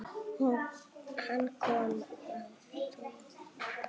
Hann kom að frú